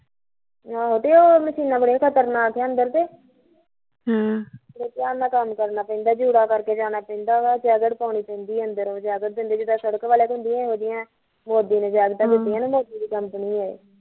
ਆਹੋ ਤੇ ਉਹ ਮੱਛੀਨਾਂ ਬੜੀਆ ਖਤਰਨਾਕ ਆ ਅੰਦਰ ਕੇ ਹਮ ਬੜੇ ਧਿਆਨ ਨਲ ਕਮ ਕਰਨਾ ਪੈਂਦਾ ਜੂੜਾ ਕਰਕੇ ਜਾਣਾ ਪੈਂਦਾ ਵਾ ਤੇ ਜੈਕਟ ਪਉਣੁ ਪੈਂਦੀ ਉੱਥੇ ਅੰਦਰ ਉਹ ਜੈਕਟ ਦਿੰਦੇ ਅੰਦਰ ਜਿਦਾਂ ਸੜਕ ਵਾਲਿਆ ਕੋਲ ਹੁੰਦੀਆ ਏਡਿਆ ਏਡਿਆ ਜੈਕਟਾ ਦਿੱਤੀਆ ਏਸ company ਨੇ